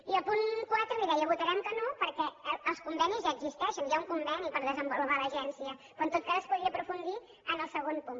i al punt quatre li deia votarem que no perquè els convenis ja existeixen hi ha un conveni per desenvolupar l’agència però en tot cas es podria aprofundir en el segon punt